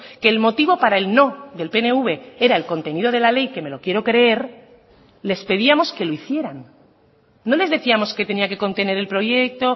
que el motivo para el no del pnv era el contenido de la ley que me lo quiero creer les pedíamos que lo hicieran no les decíamos qué tenía que contener el proyecto